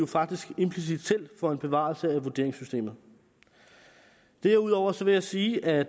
faktisk implicit selv for en bevarelse af vurderingssystemet derudover vil jeg sige at